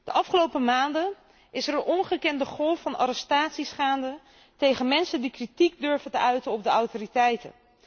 De afgelopen maanden is er een ongekende golf van arrestaties gaande tegen mensen die kritiek durven te uiten op de autoriteiten.